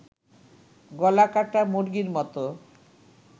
গলাকাটা মুরগির মতো